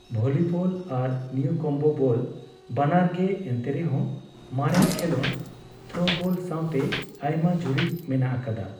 Volleyball ᱟᱨ newcomb ball ᱵᱟᱱᱟᱨᱜᱮ, ᱮᱱᱛᱮᱨᱮᱦᱚᱸ ᱢᱟᱨᱮᱱ ᱠᱷᱮᱞᱚᱸᱰ, ᱛᱷᱨᱳᱵᱚᱞ ᱥᱟᱣᱛᱮ ᱟᱭᱢᱟ ᱡᱩᱨᱤ ᱢᱮᱱᱟᱜ ᱟᱠᱟᱫᱟ ᱾